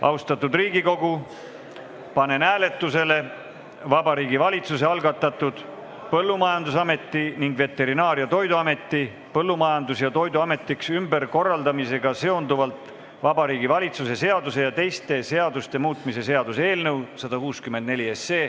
Austatud Riigikogu, panen hääletusele Vabariigi Valitsuse algatatud Põllumajandusameti ning Veterinaar- ja Toiduameti Põllumajandus- ja Toiduametiks ümberkorraldamisega seonduvalt Vabariigi Valitsuse seaduse ja teiste seaduste muutmise seaduse eelnõu 164.